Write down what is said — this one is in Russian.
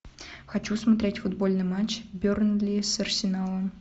хочу смотреть футбольный матч бернли с арсеналом